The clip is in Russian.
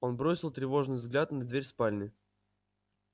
он бросил тревожный взгляд на дверь спальни